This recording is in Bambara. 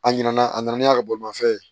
A ɲinana a nana n'a ka bolimafɛn ye